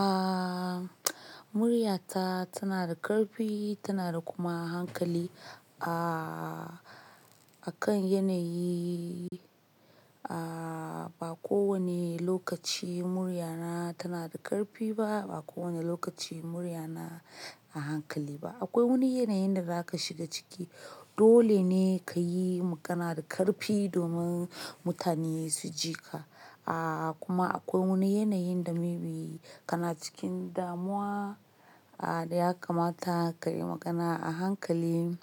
Aaa, muryata tana da ƙarfi tana da kuma hankali. Aaa, akan yanayi, aaa, ba kowane lokaci muryana tana da ƙarfi ba, ba kowane lokaci muryana a hankali ba. Akwai wani yanayin da za ka shiga ciki dole ne ka yi magana da ƙarfi domin mutane su ji ka. Aaa, kuma akwai wani yanayin da maybe kana cikin damuwa, aa, da ya kamata ka yi magana a hankali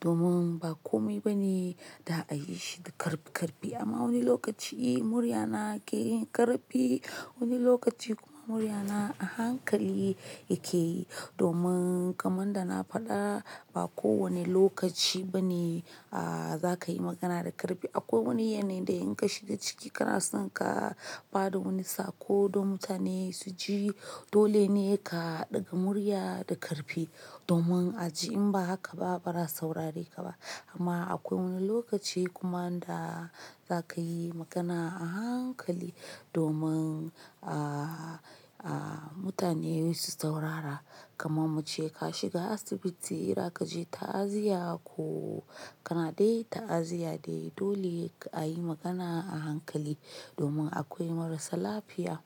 domin ba kome ba ne da a yi shi da ƙarfi ƙarfi. Amma wani lokaci muryana ke yin ƙarfi, wani lokaci kuma muryana a hankali yake yi domin kamar da na faɗa ba kowane lokaci ba ne, aa, za ka yi magana da ƙarfi. Akwai wani yanayi da in ka shiga ciki kana son ka ba da wani saƙo don mutane su ji, dole ne ka ɗaga murya da ƙarfi domin a ji. In ba haka ba bara a saurare ka ba. Amma akwai wani lokaci kuma da za ka yi magana a hankali domin, aa, aa, mutane su saurara. Kamar mace ka shiga asibiti ira ka je ta'aziyya ko kana dai ta'aziyya dai, dole ka ayi magana a hankali domin akwai marasa lafiya.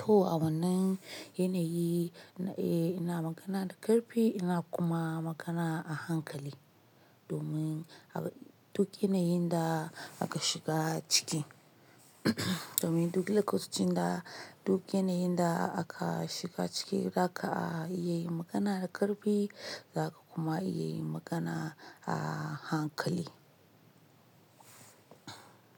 To a wannan yanayi, eh ina magana da ƙarfi ina kuma magana a hankali domin duk yanayin da aka shiga ciki. Domin duk lokacin da duk yanayin da aka shiga ciki za ka, aa, iya yin magana da ƙarfi za ka kuma iya yin magana a hankali.